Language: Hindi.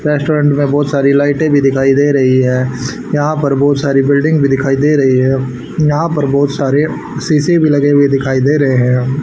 रेस्टोरेंट में बहुत सारी लाइटे भी दिखाई दे रही है यहां पर बहुत सारी बिल्डिंग भी दिखाई दे रही है यहां पर बहोत सारे शीशे भी लगे हुए दिखाइ दे रहे हैं।